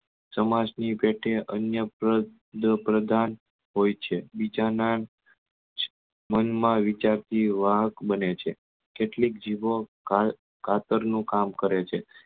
સમાજ ની પેટે અન્ય પ્રદ્ય પ્રદાન હોય છે બીજા ના મન માં વિચારતી વાહક બને છે કેટલીક જીભો કા કાતર નું કામ કરે છે